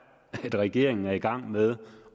at regeringen er gået i gang med